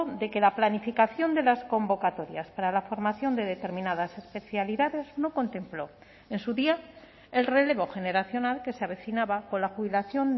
de que la planificación de las convocatorias para la formación de determinadas especialidades no contempló en su día el relevo generacional que se avecinaba con la jubilación